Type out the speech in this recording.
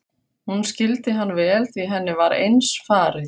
Hún skildi hann vel því henni var eins farið.